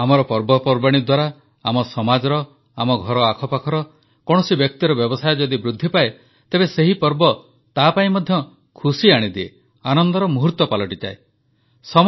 ଆମର ପର୍ବପର୍ବାଣୀ ଦ୍ୱାରା ଆମ ସମାଜର ଆମ ଘର ଆଖପାଖର କୌଣସି ବ୍ୟକ୍ତିର ବ୍ୟବସାୟ ଯଦି ବୃଦ୍ଧିପାଏ ତେବେ ସେହି ପର୍ବ ତାପାଇଁ ମଧ୍ୟ ଖୁସି ଆଣିଦିଏ ଆନନ୍ଦର ମୁହୂର୍ତ୍ତ ପାଲଟିଯାଏ